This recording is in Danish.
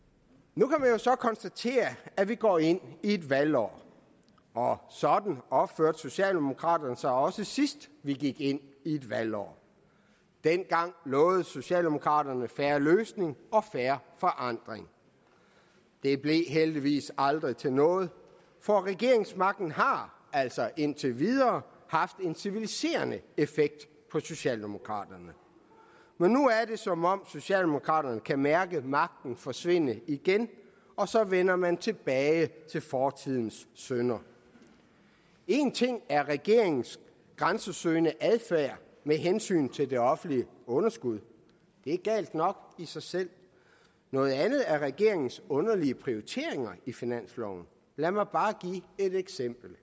jo så konstatere at vi går ind i et valgår og sådan opførte socialdemokraterne sig også sidst vi gik ind i et valgår dengang lovede socialdemokraterne fair løsning og fair forandring det blev heldigvis aldrig til noget for regeringsmagten har altså indtil videre haft en civiliserende effekt på socialdemokraterne men nu er det som om socialdemokraterne kan mærke magten forsvinde igen og så vender man tilbage til fortidens synder én ting er regeringens grænsesøgende adfærd med hensyn til det offentlige underskud det er galt nok i sig selv noget andet er regeringens underlige prioriteringer i finansloven lad mig bare give et eksempel